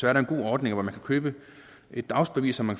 er der en god ordning hvor man kan købe et dagsbevis så man